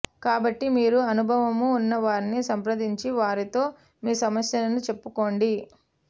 కాబట్టి మీరు అనుభవము ఉన్నవారిని సంప్రదించి వారితో మీ సమస్యలను చెప్పుక్కోండి